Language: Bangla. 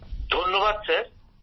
গৌরব ধন্যবাদ স্যার